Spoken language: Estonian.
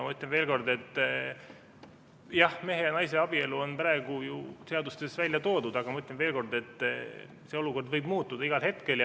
Ma ütlen veel kord, et jah, mehe ja naise abielu on praegu ju seadustes välja toodud, aga see olukord võib muutuda igal hetkel.